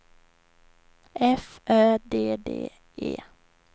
F Ö D D E